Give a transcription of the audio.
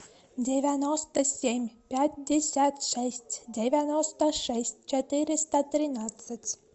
девяносто семь пятьдесят шесть девяносто шесть четыреста тринадцать